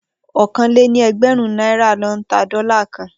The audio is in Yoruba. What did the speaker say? Okòó lé ní ẹgbẹ́rin nàirá lò n tá dòlá kàn